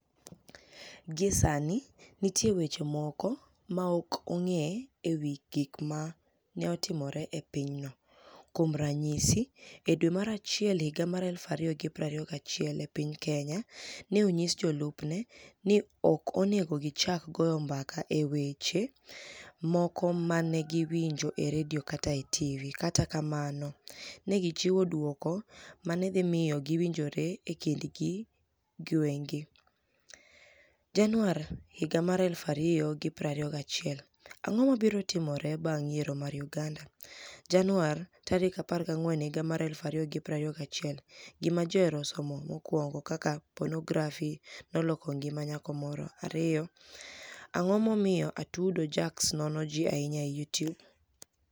Gie Saanii, niitie weche moko ma ok onig'e e wi gik ma ni e otimore e piny no. Kuom raniyisi, e dwe mar Achiel 2021, e piniy Keniya, ni e oniyis jolupni e nii ni e ok oni ego gichak goyo mbaka e wi weche moko ma ni e giwinijo e redio kata e tv. Kata kamano, ni e gichiwo dwoko ma ni e dhi miyo giwinijre e kinidgi giwegi. 14 Janiuar 2021 Anig'o mabiro timore banig' yiero mar Uganida? 14 Janiuar 2021 Gima Ji Ohero Somo 1 Kaka Ponografi noloko nigima niyako Moro 2. Anig'o Momiyo Atudo jackz nono Ji Ahiniya e Youtube?